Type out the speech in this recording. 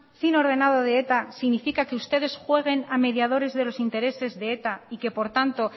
fin ordenado de eta significa que ustedes jueguen a mediadores de los intereses de eta y que por tanto